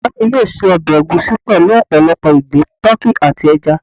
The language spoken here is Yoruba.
iya mi yóò ṣe ọbẹ̀ ègúsi pelu opolopo igbin, tuki ati ẹja.